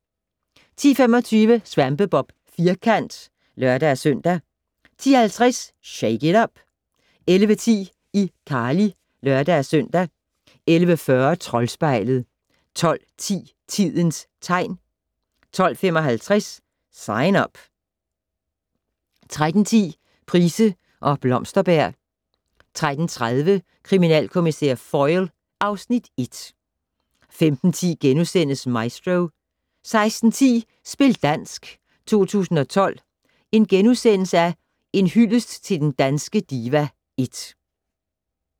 10:25: SvampeBob Firkant (lør-søn) 10:50: Shake it up! 11:10: iCarly (lør-søn) 11:40: Troldspejlet 12:10: Tidens tegn 12:55: Sign Up 13:10: Price og Blomsterberg 13:30: Kriminalkommissær Foyle (Afs. 1) 15:10: Maestro * 16:10: Spil dansk 2012 - En hyldest til den danske diva (1) *